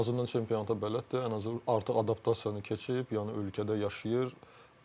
Ən azından çempionata bələddir, ən azı artıq adaptasiyanı keçib, yəni ölkədə yaşayır.